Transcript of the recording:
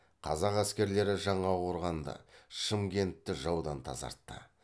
қазақ әскерлері жаңақорғанды шымкентті жаудан тазартты